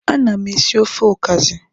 Ana m esi ofe okazi.